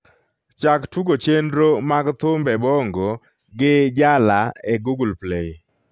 chak tugo chenro mag thumbe bongo gi jala e google play